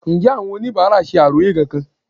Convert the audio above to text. Ǹjẹ́ àwọn oníbàárà ṣe àròyé kankan?